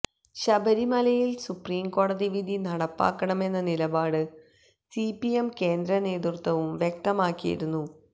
ശബരിമലയില് സുപ്രീംകോടതി വിധി നടപ്പാക്കണമെന്ന നിലപാട് സിപിഎം കേന്ദ്ര നേതൃത്വവും വ്യക്തമാക്കിയിരുന്നു